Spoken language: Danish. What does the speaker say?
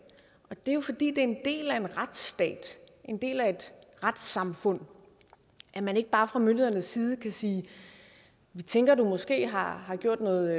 og det er jo fordi det er en del af en retsstat en del af et retssamfund at man ikke bare fra myndighedernes side kan sige vi tænker at du måske har har gjort noget